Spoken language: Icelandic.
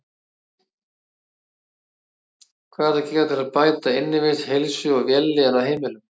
Hvað er hægt að gera til að bæta innivist, heilsu og vellíðan á heimilum?